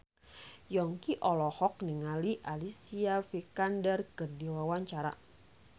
Yongki olohok ningali Alicia Vikander keur diwawancara